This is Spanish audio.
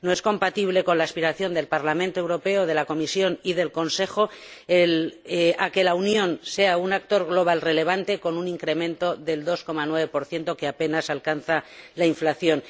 No es compatible con la aspiración del Parlamento Europeo, de la Comisión y del Consejo de que la Unión sea un actor global relevante con un incremento del 2,9 que apenas alcanza la inflación.